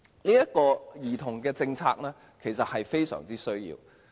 這項兒童的政策其實非常必要。